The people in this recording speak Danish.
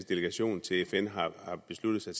delegation til fn har besluttet sig